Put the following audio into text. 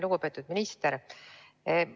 Lugupeetud minister!